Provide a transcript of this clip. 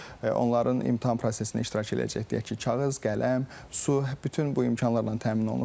Onların imtahan prosesində iştirak edəcək, deyək ki, kağız, qələm, su, bütün bu imkanlarla təmin olunubdur.